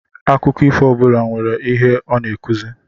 Akụkọ ifo ọbula nwèrè ihe ọ n'akụzi.